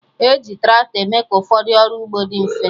Eji tractọ eme ka ụfọdụ ọrụ ugbo dị mfe